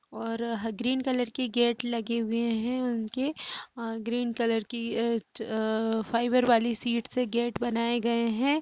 और green colour की gate लगे हुए है । उनके ग्रीन कलर की फाइबर वाली सीट से गेट बनाये गए हैं ।